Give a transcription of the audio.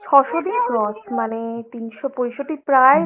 ছ'শো দিন cross মানে তিনশো পঁয়ষট্টি প্রায় দু'বছর